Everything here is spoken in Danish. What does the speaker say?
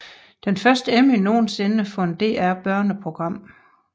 Den første Emmy nogensinde for et DR børneprogram